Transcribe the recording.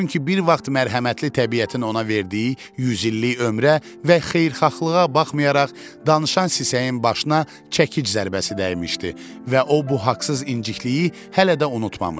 Çünki bir vaxt mərhəmətli təbiətin ona verdiyi yüzillik ömrə və xeyirxahlığa baxmayaraq danışan sisəyin başına çəkic zərbəsi dəymişdi və o bu haqsız incikliyi hələ də unutmamışdı.